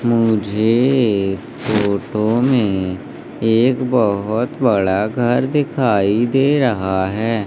मुझे इस फोटो में एक बहोत बड़ा घर दिखाई दे रहा है।